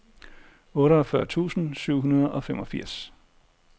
otteogfyrre tusind syv hundrede og femogfirs